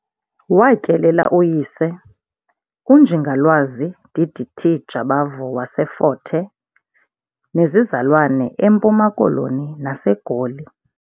Watyelela uyise, uNjingalwazi D.D.T. Jabavu waseFort Hare, nezizalwane eMpuma Koloni naseGoli.